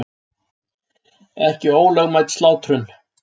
Ekki ólögmæt slátrun